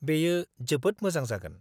-बेयो जोबोद मोजां जागोन।